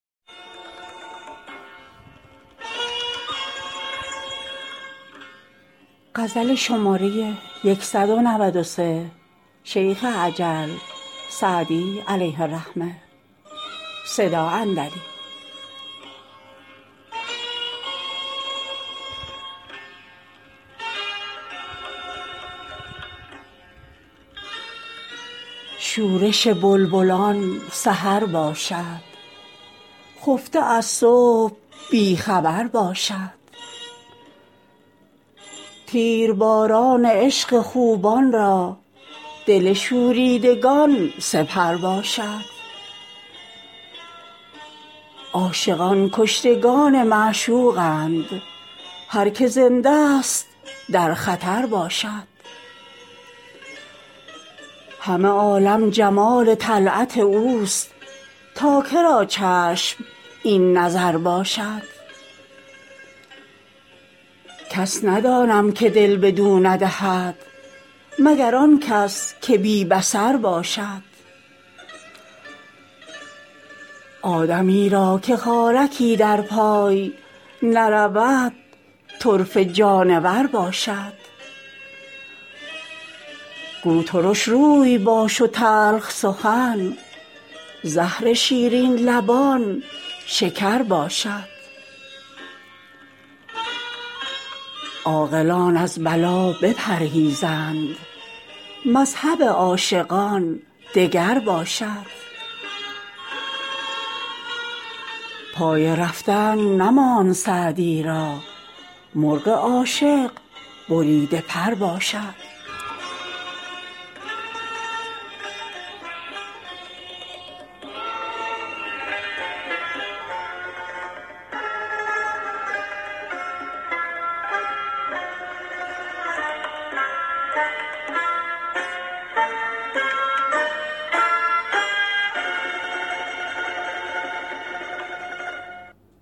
شورش بلبلان سحر باشد خفته از صبح بی خبر باشد تیرباران عشق خوبان را دل شوریدگان سپر باشد عاشقان کشتگان معشوقند هر که زنده ست در خطر باشد همه عالم جمال طلعت اوست تا که را چشم این نظر باشد کس ندانم که دل بدو ندهد مگر آن کس که بی بصر باشد آدمی را که خارکی در پای نرود طرفه جانور باشد گو ترش روی باش و تلخ سخن زهر شیرین لبان شکر باشد عاقلان از بلا بپرهیزند مذهب عاشقان دگر باشد پای رفتن نماند سعدی را مرغ عاشق بریده پر باشد